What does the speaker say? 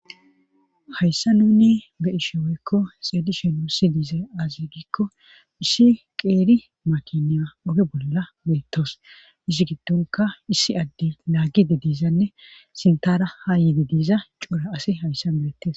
hayssan nuni be'ishe woykko xeelishe nusi diize azi gikko issi qeeri makiniya oge bolla beettos izi gidonka issi adde laagide diizanne sintara ha yede diiza coora asi hayssan beettes